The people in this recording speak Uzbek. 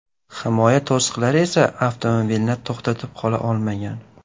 Himoya to‘siqlari esa avtomobilni to‘xtatib qola olmagan.